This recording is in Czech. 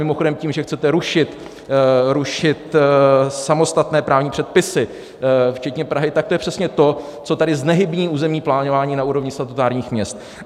Mimochodem tím, že chcete rušit samostatné právní předpisy včetně Prahy, tak to je přesně to, co tady znehybní územní plánování na úrovni statutárních měst.